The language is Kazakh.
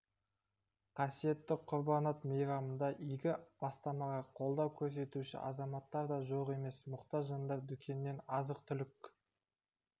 қасиетті құрбан айт мейрамында игі бастамаға қолдау көрсетуші азаматтар да жоқ емес мұқтаж жандар дүкеннен азық-түлік